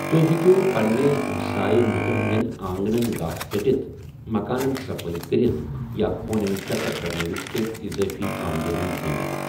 تو٘ہہہِ ہیٚکِو پننٮ۪نہِ ہمسٲیہ لٗكن ہندین آنگنن گھاسہٕ ژٹِتھ ، مكانن صفٲیی كرِتھ ، یا ہونین چكر كرنٲوِتھ كینہہ اِضٲفی آمدنی زینِتھ ۔